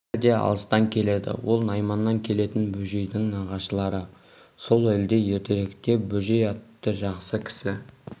бәрі де алыстан келеді ол найманнан келетін бөжейдің нағашылары сол елде ертеректе бөжей атты жақсы кісі